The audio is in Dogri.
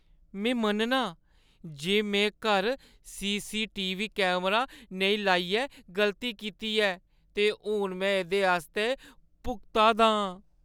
मैं मन्ननां जे में घर सी.सी.टी.वी. कैमरा नेईं लाइयै गलती कीती ऐ ते हून में एह्दे आस्तै भुगता दा आं।